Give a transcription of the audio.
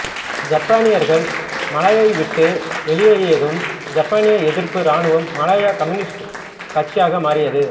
ஜப்பானியர்கள் மலாயாவை விட்டு வெளியேறியதும் ஜப்பானிய எதிர்ப்பு இராணுவம் மலாயா கம்னியூஸ்ட் கட்சியாக மாறியது